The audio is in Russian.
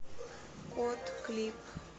кот клип